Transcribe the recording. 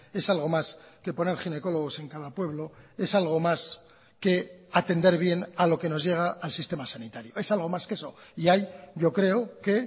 es algo más que poner ginecólogos en cada pueblo es algo más que atender bien a lo que nos llega al sistema sanitario es algo más que eso y ahí yo creo que